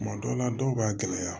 Tuma dɔw la dɔw b'a gɛlɛya